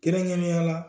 Kɛrɛnkɛrɛnnenya la